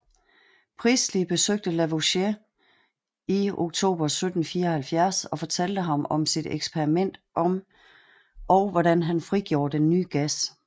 Priestley besøgte Lavoisier i oktober 1774 og fortalte ham om sit eksperiment og hvordan han frigjorde den nye gas